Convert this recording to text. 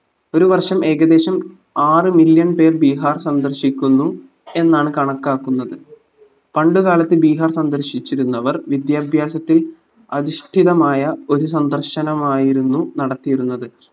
ഒരു വർഷം ഏകദേശം ആറ് million പേർ ബിഹാർ സന്ദർശിക്കുന്നു എന്നാണ് കണക്കാക്കുന്നത് പണ്ടു കാലത്ത് ബീഹാർ സന്ദർശിച്ചിരുന്നവർ വിദ്യാഭ്യാസത്തിൽ അധിഷ്ഠിതമായ ഒരു സന്ദർശനമായിരുന്നു നടത്തിയിരുന്നത്